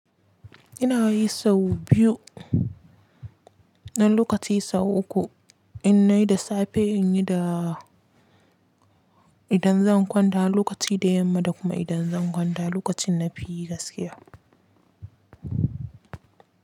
Ina yi sau biyu na lokaci sau uku. In nai da safe, in yi da idan zan kwanta lokaci da yamma da kuma idan zan kwanta lokacin na fi gaskiya.